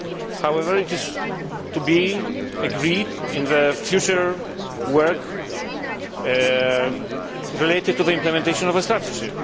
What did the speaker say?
However, it is to be agreed in the future work related to the implementation of the strategy.